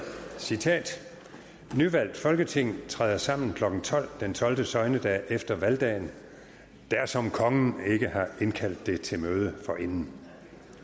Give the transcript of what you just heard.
nyvalgt folketing træder sammen klokken tolv den tolvte søgnedag efter valgdagen dersom kongen ikke har indkaldt det til møde forinden